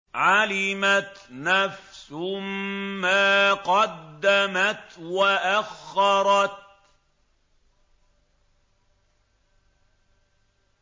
عَلِمَتْ نَفْسٌ مَّا قَدَّمَتْ وَأَخَّرَتْ